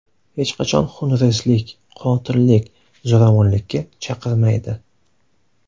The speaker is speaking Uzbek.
Hech qachon xunrezlik, qotillik, zo‘ravonlikka chaqirmaydi.